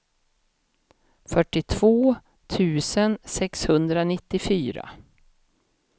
fyrtiotvå tusen sexhundranittiofyra